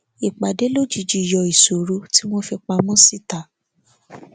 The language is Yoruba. ìpàdé lójijì yọ ìṣòro tí wọn fi pamọ síta